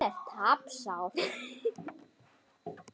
Hann er tapsár.